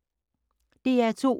DR2